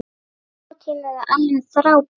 Sá tími var alveg frábær.